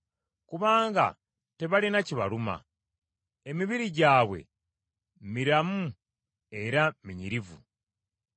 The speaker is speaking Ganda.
Kubanga tebalina kibaluma; emibiri gyabwe miramu era minyirivu.